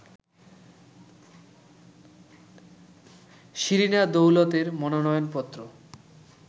শিরিনা দৌলতের মনোনয়নপত্র